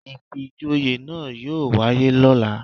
Ìfijoyè náà yóò wáyé lóla